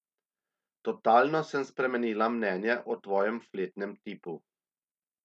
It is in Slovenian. Totalno sem spremenila mnenje o tvojem fletnem tipu.